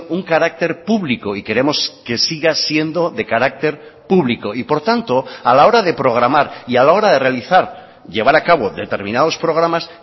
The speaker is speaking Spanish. un carácter público y queremos que siga siendo de carácter público y por tanto a la hora de programar y a la hora de realizar llevar a cabo determinados programas